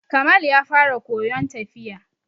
Kamal ya fara koyon tafiya.